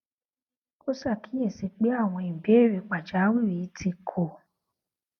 ó ṣàkíyèsí pé àwọn ìbéèrè pàjáwìrì tí kò